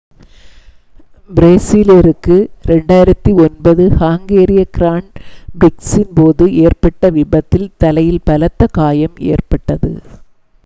பிரேசிலியருக்கு 2009 ஹங்கேரிய கிராண்ட் பிரிக்ஸின் போது ஏற்பட்ட விபத்தில் தலையில் பலத்த காயம் ஏற்பட்டது